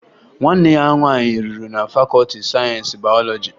Nwanne ya nwaanyị rụrụ na fakọọti sayensi bayọlọji